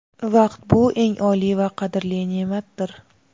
Vaqt bu eng oliy va qadrli neʼmatdir!.